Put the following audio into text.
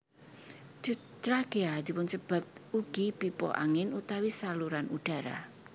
Trakea dipunsebat ugi pipa angin utawi saluran udara